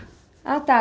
Ah, tá.